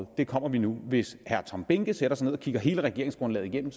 og det kommer vi nu hvis herre tom behnke sætter sig ned og kigger hele regeringsgrundlaget igennem